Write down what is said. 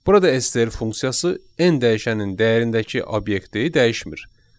Burada STR funksiyası n dəyişənin dəyərindəki obyekti dəyişmir.